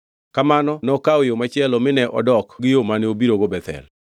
Kamano nokawo yo machielo mine ok odok gi yo mane obirogo Bethel.